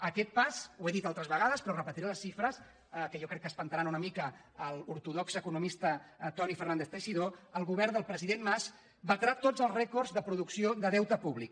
a aquest pas ho he dit altres vegades però en repetiré les xifres que jo crec que espantaran una mica l’ortodox econo·mista toni fernández teixidó el govern del presi·dent mas batrà tots els rècords de producció de deute públic